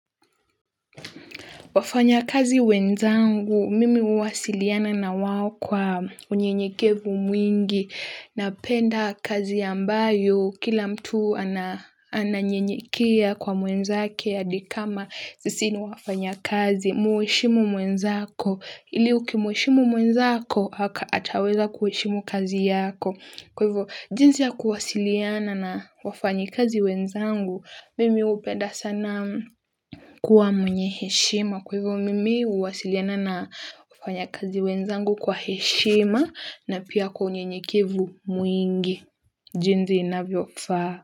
Wafanyakazi wenzangu mimi huwasiliana nawao kwa unyenyekevu mwingi, napenda kazi ambayo kila mtu na ninanyenyekea kwa mwenzake hadi kama sisi ni wafanyakazi, muheshimu mwenzako ili ukimuheshimu mwenzako ataweza kuheshimu kazi yako. Kwa hivyo, jinsi ya kuwasiliana na wafanyikazi wenzangu, mimi hupenda sana kuwa mwenye heshima. Kwa hivyo, mimi huwasiliana na wafanyikazi wenzangu kwa heshima na pia kwa unyenyekevu mwingi. Jinsi inavyo faa.